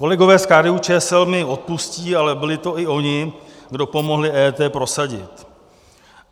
Kolegové z KDU-ČSL mi odpustí, ale byli to i oni, kdo pomohli EET prosadit.